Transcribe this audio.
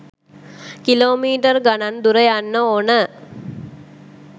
Kilo metre ගනන් දුර යන්න ඕන.